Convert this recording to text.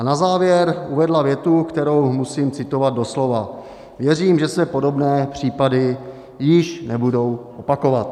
A na závěr uvedla větu, kterou musím citovat doslova: "Věřím, že se podobné případy již nebudou opakovat."